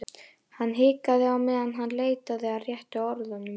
Hann hikaði á meðan hann leitaði að réttu orðunum.